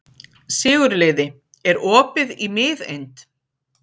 Sigurliði, er opið í Miðeind?